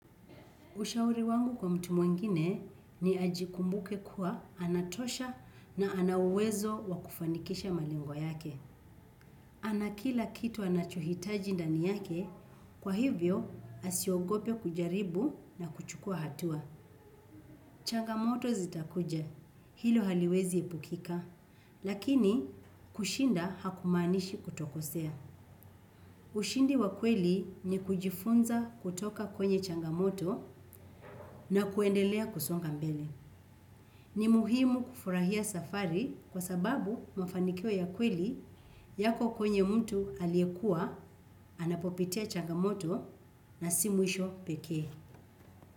Ushauri wangu kwa mtu mwengine ni ajikumbuke kuwa anatosha na ana uwezo wa kufanikisha malengo yake. Ana kila kitu anachohitaji ndani yake, kwa hivyo asiogope kujaribu na kuchukua hatua. Changamoto zitakuja hilo haliwezi epukika lakini kushinda hakumaanisha kutokosea ushindi wa kweli ni kujifunza kutoka kwenye changamoto na kuendelea kusonga mbele. Ni muhimu kufurahia safari kwa sababu mafanikio ya kweli yako kwenye mtu aliyekuwa, anapopitia changamoto na si mwisho peke.